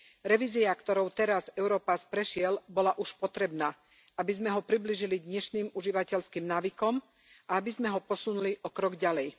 Revízia, ktorou teraz Europass prešiel, bola už potrebná, aby sme ho priblížili dnešným užívateľským návykom a aby sme ho posunuli o krok ďalej.